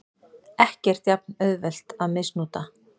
Ekkert jafn auðvelt að misnota.